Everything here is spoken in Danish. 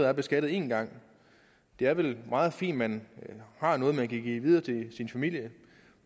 er beskattet en gang det er vel meget fint at man har noget som man kan give videre til sin familie